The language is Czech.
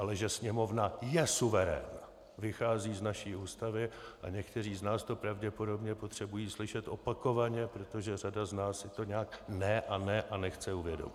Ale že sněmovna je suverén, vychází z naší Ústavy a někteří z nás to pravděpodobně potřebují slyšet opakovaně, protože řada z nás si to nějak ne a ne a nechce uvědomit.